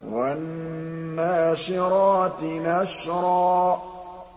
وَالنَّاشِرَاتِ نَشْرًا